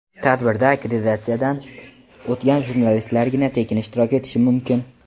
Tadbirda akkreditatsiyadan o‘tgan jurnalistlargina tekin ishtirok etishi mumkin.